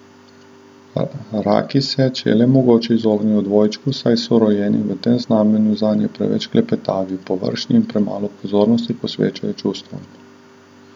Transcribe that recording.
Raki se, če je le mogoče, izognejo dvojčku, saj so rojeni v tem znamenju zanje preveč klepetavi, površni in premalo pozornosti posvečajo čustvom.